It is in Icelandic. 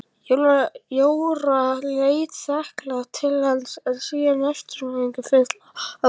Jóra leit þakklát til hans en síðan eftirvæntingarfull á Gissur.